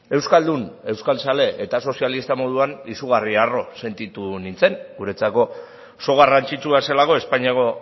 euskaldun euskaltzale eta sozialista moduan izugarri arro sentitu nintzen guretzako oso garrantzitsua zelako espainiako